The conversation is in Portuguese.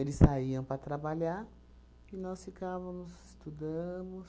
saíam para trabalhar e nós ficávamos, estudamos,